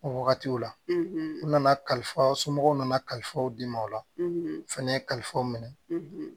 O wagatiw la u nana kalifaw somɔgɔw nana kalifaw di ma o la fɛnɛ kalifaw minɛ